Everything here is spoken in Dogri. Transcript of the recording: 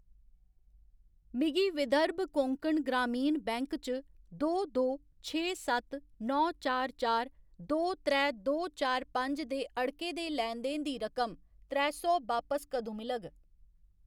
मिगी विदर्भ कोंकण ग्रामीण बैंक च दो दो छे सत्त नौ चार चार दो त्रै दो चार पंज दे अड़के दे लैन देन दी रकम त्रै सौ बापस कदूं मिलग ?